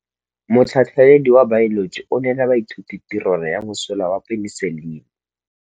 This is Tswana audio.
Motlhatlhaledi wa baeloji o neela baithuti tirwana ya mosola wa peniselene.